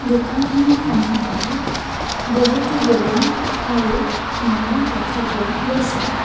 দোকানখনৰ সন্মুখত বহুতো বেলুন আৰু মালা দেখা পোৱা গৈছে।